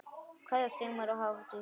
Kveðja, Sigmar og Hafdís.